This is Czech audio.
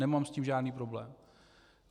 Nemám s tím žádný problém.